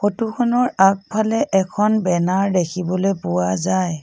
ফটোখনৰ আগফালে এখন বেনাৰ দেখিবলৈ পোৱা যায়।